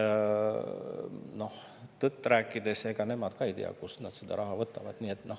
Noh, tõtt-öelda, ega nemad ka ei tea, kust nad selle raha võtavad.